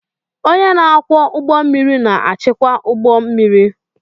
Onye na-akwọ ụgbọ mmiri na-achịkwa ụgbọ mmiri.